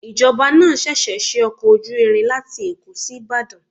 Ìjọba náà ṣẹ̀ṣẹ̀ ṣe ọkọ̀ ojú irin láti Èkó sí Ìbàdàn.